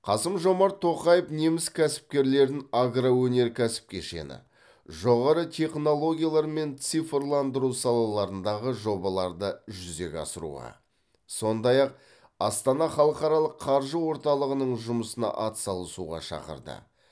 қасым жомарт тоқаев неміс кәсіпкерлерін агроөнеркәсіп кешені жоғары технологиялар мен цифрландыру салаларындағы жобаларды жүзеге асыруға сондай ақ астана халықаралық қаржы орталығының жұмысына атсалысуға шақырды